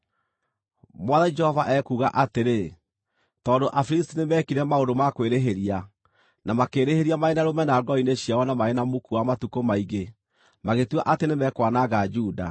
“Mwathani Jehova ekuuga atĩrĩ; ‘Tondũ Afilisti nĩmekire maũndũ ma kwĩrĩhĩria, na makĩĩrĩhĩria marĩ na rũmena ngoro-inĩ ciao na marĩ na muku wa matukũ maingĩ magĩtua atĩ nĩmekwananga Juda,